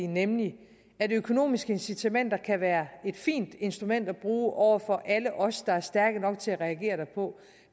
nemlig at økonomiske incitamenter kan være et fint instrument at bruge over for alle os der er stærke nok til reagere derpå